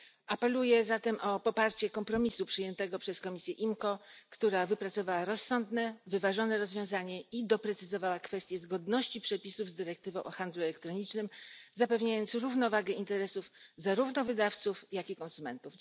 Apeluję zatem o poparcie kompromisu przyjętego przez komisję IMCO, która wypracowała rozsądne, wyważone rozwiązanie i doprecyzowała kwestię zgodności przepisów z dyrektywą o handlu elektronicznym zapewniając równowagę interesów zarówno wydawców, jak i konsumentów.